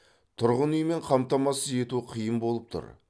тұрғын үймен қамтамасыз ету қиындау болып тұр